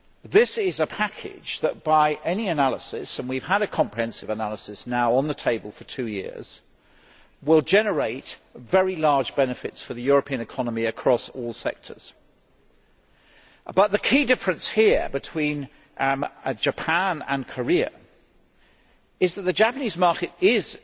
This is a package that by any analysis and we have had a comprehensive analysis now on the table for two years will generate very large benefits for the European economy, across all sectors. But the key difference between Japan and Korea is that the Japanese market is